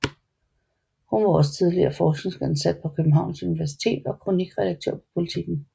Hun var også tidligere forskningsansat på Københavns Universitet og kronikredaktør på Politiken